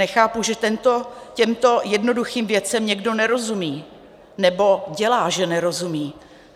Nechápu, že těmto jednoduchým věcem někdo nerozumí, nebo dělá, že nerozumí.